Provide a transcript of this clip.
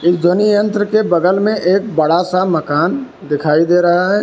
इस ध्वनि यंत्र के बगल में एक बड़ा सा मकान दिखाई दे रहा है।